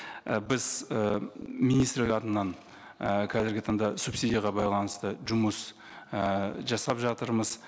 і біз і министрлік атынан і қазіргі таңда субсидияға байланысты жұмыс ііі жасап жатырмыз